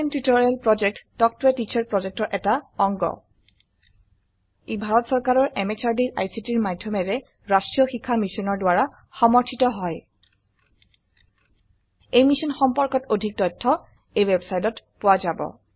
spoken tutorial project talk ত a teacher প্ৰজেক্টৰ এটা অংগ ই ভাৰত চৰকাৰৰ MHRDৰ ICTৰ মাধয়মেৰে ৰাস্ত্ৰীয় শিক্ষা মিছনৰ দ্ৱাৰা সমৰ্থিত হয় এই মিশ্যন সম্পৰ্কত অধিক তথ্য spoken hyphen tutorial dot org slash এনএমইআইচিত হাইফেন ইন্ট্ৰ ৱেবচাইটত পোৱা যাব